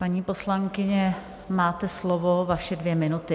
Paní poslankyně, máte slovo, vaše dvě minuty.